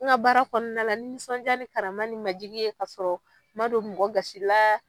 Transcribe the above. N ka baara kɔnɔna la ni bonya ni majigi ye k'a sɔrɔ ma don mɔgɔ gasi la.